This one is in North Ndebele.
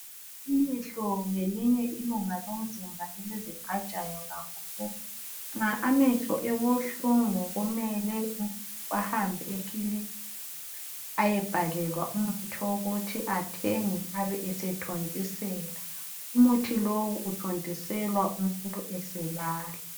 Ilihlo ngelinye ilunga lomzimba eliziqajayo kakhulu nxa amehlo ebuhlungu kumele ahambe ekilinika eyebhalelwa umuthi wokuthi athenga abesethontisela umuthi lowo othontiselwa umuntu eselala.